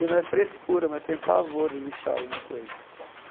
E não é frescura, mas eu tenho pavor de lixar alguma coisa.